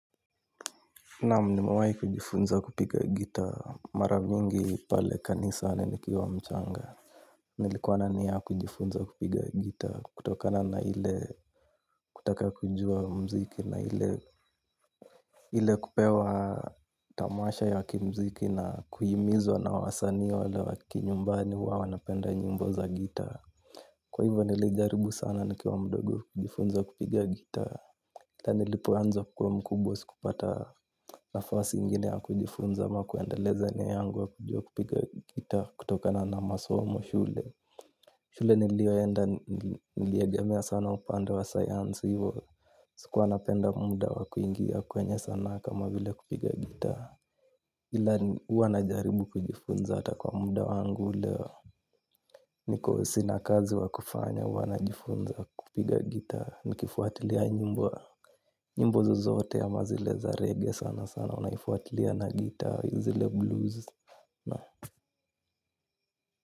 Naam nimewahi kujifunza kupiga gitaa mara mingi pale kanisani nikiwa mchanga. Nilikuwa na nia ya kujifunza kupiga gitaa kutokana na ile kutaka kujua muziki na ile ile kupewa tamasha ya kimuziki na kuhimizwa na wasanii wale wa kinyumbani huwa wanapenda nyimbo za gitaa. Kwa hivyo nilijaribu sana nikiwa mdogo kujifunza kupiga gitaa. Hata nilipo anza kukuwa mkubwa sikupata nafasi ingine ya kujifunza ama kuendeleza nia yangu ya kujua kupiga gitaa kutokana na masomo shule. Shule niliyoenda niliegemea sana upande wa sayansi hivo. Sikuwa napenda muda wa kuingia kwenye sanaa kama vile kupiga gitaa. Ila ni huwa najaribu kujifunza hata kwa muda wangu leo. Niko sina kazi wa kufanya huwa najifunza kupiga gitaa. Nikifuatilia nyimbo zozote ama zile za redio sana sana huwa nafuatilia na gitaa, zile blues.